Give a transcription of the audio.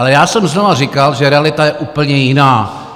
Ale já jsem znovu říkal, že realita je úplně jiná.